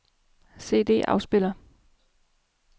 CD-afspiller